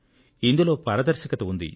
ఇందులో పారదర్శకత ఉంది